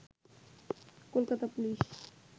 Kolkata police